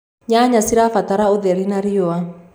nyanya cirabatara ũtheri wa riũa